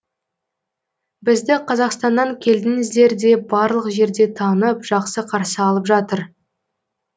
бізді қазақстаннан келдіңіздер деп барлық жерде танып жақсы қарсы алып жатыр